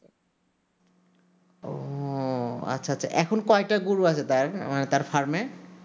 ও আচ্ছা আচ্ছা এখন কয়টা গরু আছে টি আমাদের farm এ